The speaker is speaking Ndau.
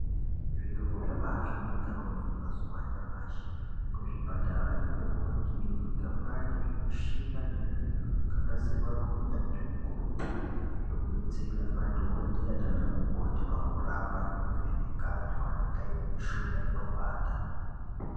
Zviro zvabaahlamburika kwemene mazuwa anyamashi. Kuzvipatara yo nekumakirinika kwaane zvimishina nezvimwe zvakanasirwa ngeunyanzvi hukurutu zvekubetsera madhokodheya nanamukoti pakurapa vantu nekuvheneka antu anenge aine mushuna inopanda.